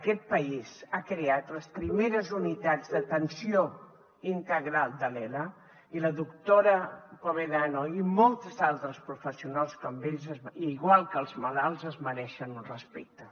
aquest país ha creat les primeres unitats d’atenció integral de l’ela i la doctora povedano i moltes altres professionals com ella i igual que els malalts es mereixen un respecte